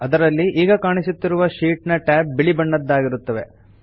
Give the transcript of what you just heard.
ಅದರಲ್ಲಿ ಈಗ ಕಾಣಿಸುತ್ತಿರುವ ಶೀಟ್ ನ ಟ್ಯಾಬ್ ಬಿಳಿ ಬಣ್ಣದ್ದಾಗಿರುತ್ತವೆ